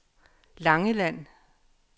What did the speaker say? Langeland